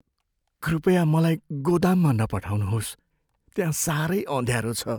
कृपया मलाई गोदाममा नपठाउनुहोस्। त्यहाँ साह्रै अँध्यारो छ।